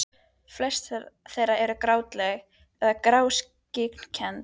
Flest þeirra eru gráleit eða grágrýtiskennd.